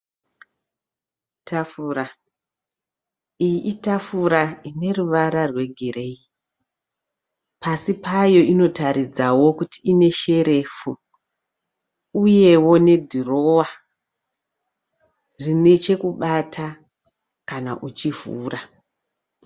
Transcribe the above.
Tafura, iyi itafura ine ruvara rwegireyi. Pasi payo inotaridzao kuti pane sherefu uyeo nedhirowa rine pekubata kana uchivhura.